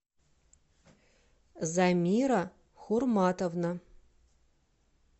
замира хурматовна